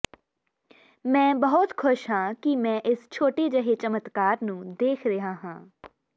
ਮੈਂ ਬਹੁਤ ਖੁਸ਼ ਹਾਂ ਕਿ ਮੈਂ ਇਸ ਛੋਟੇ ਜਿਹੇ ਚਮਤਕਾਰ ਨੂੰ ਦੇਖ ਰਿਹਾ ਹਾਂ